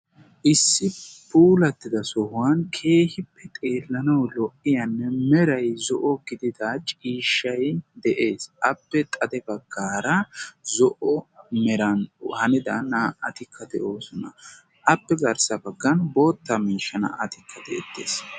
issi puulatidi keehippe xeelanaw lo''iyanne meray zo'o gidiyo ciishshay de'ees. appe xade meran hanida naa''attikka de'oosona. appe xade baggara naa''atikka beettoosoan.